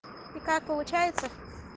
и как получается